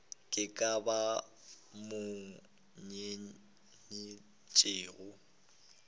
ke ba ba mo nyetšego